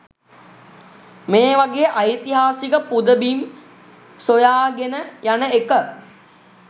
මේ වගේ ඓතිහාසික පුදබිම් සොයාගෙන යන එක.